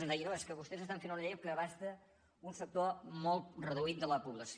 ens deia no és que vostès estan fent una llei que abasta un sector molt reduït de la població